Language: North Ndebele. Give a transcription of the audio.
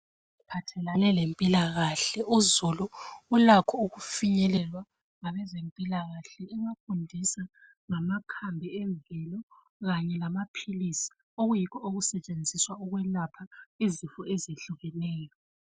Eziphathelane lempilakahle uzulu ulakho ukufinyelelwa ngabezi mpilakahle ebafundisa ngamakhambi emvelo kanye lamaphilisi okuyikho okusetshenziswa ukwelapha izifo ezihlukeneyo .